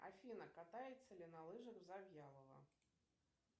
афина катается ли на лыжах завьялова